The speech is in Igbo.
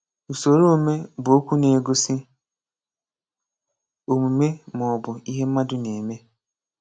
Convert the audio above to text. Usoroome bụ okwu na-egosi òmúmé ma ọ bụ ihe mmadụ na-eme.